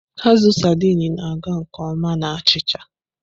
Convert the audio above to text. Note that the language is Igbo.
Azụ Sardini na-aga nke ọma na achịcha.